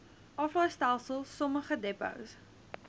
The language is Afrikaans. aflaaistelsel sommige depots